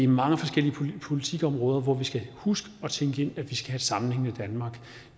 mange forskellige politikområder hvor vi skal huske at tænke ind at vi skal have et sammenhængende danmark